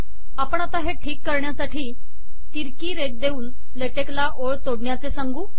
आपण आता हे ठीक करण्यासाठी तिरकी रेघ देऊन ले टेक ला ओळ तोडण्याचे सांगू